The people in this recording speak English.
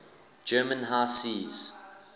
german high seas